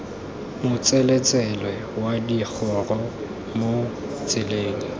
motseletsele wa digoro mo tseleng